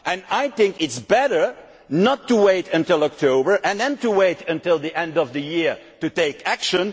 now. I think it is better not to wait until October and then wait until the end of the year to take action.